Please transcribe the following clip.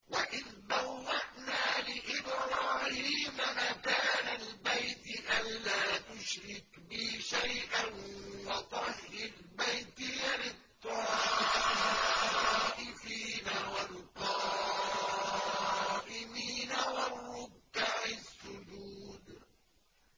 وَإِذْ بَوَّأْنَا لِإِبْرَاهِيمَ مَكَانَ الْبَيْتِ أَن لَّا تُشْرِكْ بِي شَيْئًا وَطَهِّرْ بَيْتِيَ لِلطَّائِفِينَ وَالْقَائِمِينَ وَالرُّكَّعِ السُّجُودِ